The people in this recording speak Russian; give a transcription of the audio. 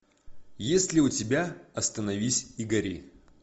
есть ли у тебя остановись и гори